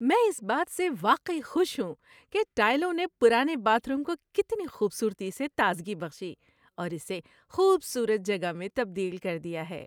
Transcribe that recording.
میں اس بات سے واقعی خوش ہوں کہ ٹائلوں نے پرانے باتھ روم کو کتنی خوبصورتی سے تازگی بخشی اور اسے خوبصورت جگہ میں تبدیل کر دیا ہے۔